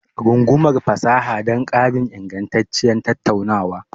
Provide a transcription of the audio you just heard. Rungumar fasaha don ƙarin ingantacciyar tattaunawa.